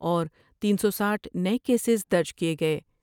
اور تین سو ساٹھ نئے کیسیں درج کئے گئے ۔